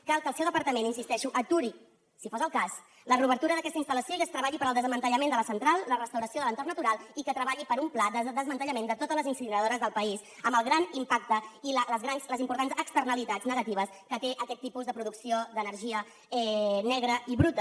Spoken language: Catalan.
cal que el seu departament hi insisteixo aturi si fos el cas la reobertura d’aquesta instal·lació i es treballi per al desmantellament de la central la restauració de l’entorn natural i que treballi per un pla de desmantellament de totes les incineradores del país amb el gran impacte i les importants externalitats negatives que té aquest tipus de producció d’energia negra i bruta